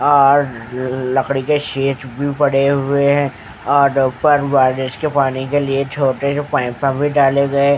और लकड़ी के शीट्स भी पड़े हुए हैं और ऊपर बारिस के पानी के लिए छोटे से पाइपां भी डाले गए।